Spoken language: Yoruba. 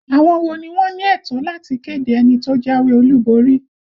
Àwọn wo ni wọ́n ní ẹ̀tọ́ láti kéde ẹni tó jáwé olúborí?